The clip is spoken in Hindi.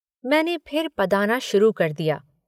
मैंने फिर पदाना शुरू कर दिया।